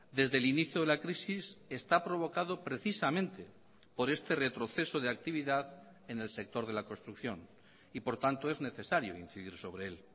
desde el inicio de la crisis está provocado precisamente por este retroceso de actividad en el sector de la construcción y por tanto es necesario incidir sobre el